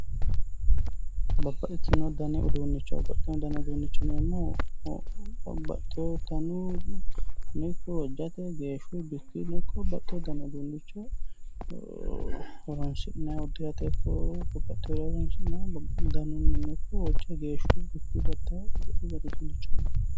babbaxino dani uduunnicho babbaxino dani uduunnicho yineemmohu babbaxewo daninni ikko hojjate geeshshuyi bikkuyino ikko babbaxewo dani uduunnicho horoonsi'nayi udiirate ikko babbaxewo daninnino ikko hojja geeshshuyi danuyi ikko babbaxeewo dani uduunnicho yineemmo